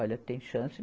Olha, tem chance?